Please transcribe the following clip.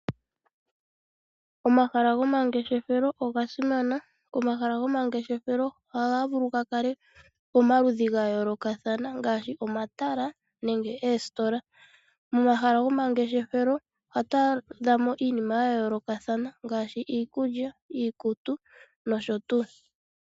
Omahala go mangeshefelo oga simana. Omahala gomangeshefelo oha ga vulu ga kale pamaludhi ga yoolokathana ngaashi omatala nenge oositola. Momahala gomangeshefelo oha tu adha mo iinima ya yoolokathana ngaashi iikulya, iikutu noshotuu.